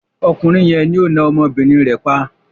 Ọkùnrin yẹn ni ó na ọmọbìnrin rẹ̀ pa.